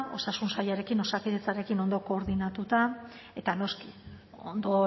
osasun sailarekin osakidetzarekin ondo koordinatuta eta noski ondo